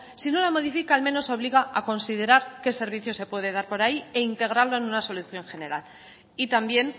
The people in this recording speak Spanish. si no la modifica al menos obliga a considerar qué servicio se puede dar por ahí e integrarlo en una solución general y también